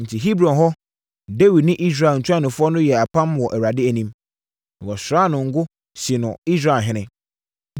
Enti Hebron hɔ, Dawid ne Israel ntuanofoɔ no yɛɛ apam wɔ Awurade anim. Na wɔsraa no ngo sii no Israelhene.